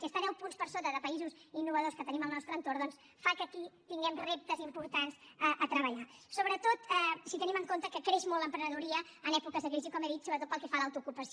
i estar deu punts per sota de països innovadors que tenim al nostre entorn doncs fa que aquí tinguem reptes importants a treballar sobretot si tenim en compte que creix molt l’emprenedoria en èpoques de crisi com he dit sobretot pel que fa a l’autoocupació